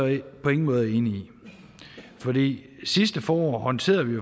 på ingen måder enig i sidste forår håndterede vi